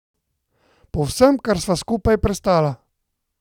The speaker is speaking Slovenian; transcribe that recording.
Po vsem, kar sva skupaj prestala?